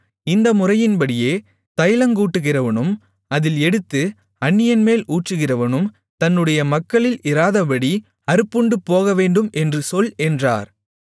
இந்த முறையின்படியே தைலங்கூட்டுகிறவனும் அதில் எடுத்து அந்நியன்மேல் ஊற்றுகிறவனும் தன்னுடைய மக்களில் இராதபடி அறுப்புண்டுபோகவேண்டும் என்று சொல் என்றார்